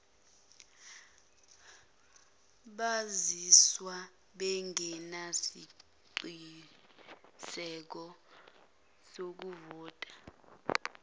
bazizwa bengenasiqiniseko sokuvota